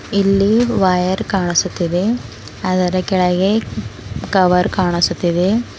ಇಲ್ಲಿ ವೈರ್ ಕಾಣಿಸುತ್ತಿದೆ ಆದರ ಕೆಳಗೆ ಕವರ್ ಕಾಣಿಸುತ್ತಿದೆ.